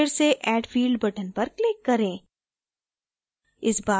एक बार फिर से add field button पर click करें